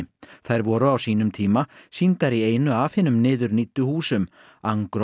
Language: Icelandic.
þær voru á sýnum tíma sýndar í einu af hinum niðurníddu húsum